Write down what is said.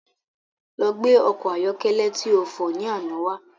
Lọ gbé ọkọ̀ ayọ́kẹ́lẹ́ ti o fọ̀ ni àná wá